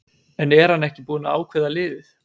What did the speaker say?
En er hann ekki búinn að ákveða liðið?